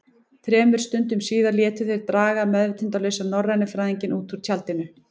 Þremur stundum síðar létu þeir draga meðvitundarlausan norrænufræðinginn út úr tjaldinu.